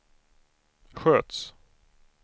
sköts